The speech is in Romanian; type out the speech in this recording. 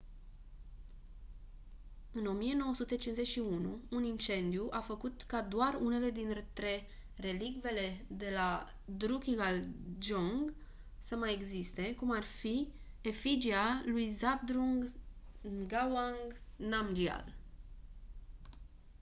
în 1951 un incendiu a făcut ca doar unele dintre relicvele de la drukgyal dzong să mai existe cum ar fi efigia lui zhabdrung ngawang namgyal